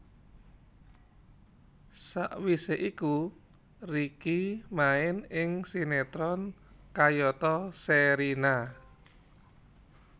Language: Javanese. Sawisé iku Ricky main ing sinetron kayata Sherina